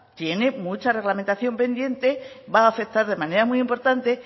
tiene mucha reglamentación pendiente va a afectar de manera muy importante